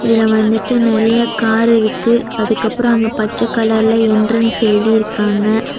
இதுல வந்துட்டு நெறைய கார் இருக்கு அதுக்கப்புறம் அங்க பச்ச கலர்ல என்ட்ரன்ஸ் எழுதிருக்காங்க.